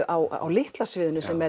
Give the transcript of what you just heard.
á Litla sviðinu sem